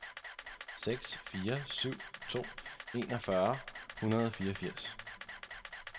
seks fire syv to enogfyrre et hundrede og fireogfirs